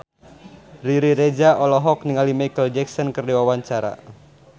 Riri Reza olohok ningali Micheal Jackson keur diwawancara